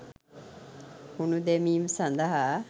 කුණු දැමීම සඳහා